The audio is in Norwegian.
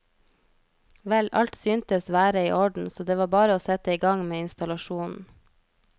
Vel, alt syntes være i orden så det var bare å sette igang med installasjonen.